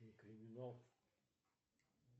криминал